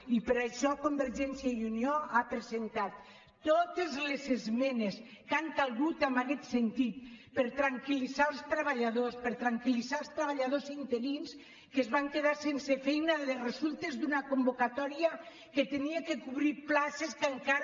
i per això convergència i unió ha presentat totes les esmenes que han calgut en aquest sentit per tranquil·litzar els treballadors per tranquil·litzar els treballadors interins que es van quedar sense feina de resultes d’una convocatòria que havia de cobrir places que encara